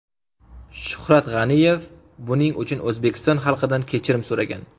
Shuhrat G‘aniyev buning uchun O‘zbekiston xalqidan kechirim so‘ragan .